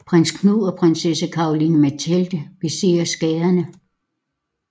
Prins Knud og prinsesse Caroline Mathilde beser skaderne